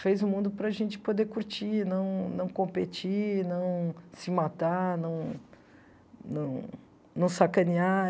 Fez o mundo para a gente poder curtir, não não competir, não se matar, não não não sacanear.